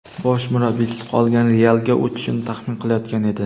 bosh murabbiysiz qolgan "Real"ga o‘tishini taxmin qilayotgan edi.